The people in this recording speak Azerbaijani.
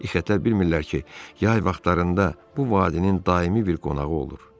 İxetər bilmirlər ki, yay vaxtlarında bu vadinin daimi bir qonağı olur.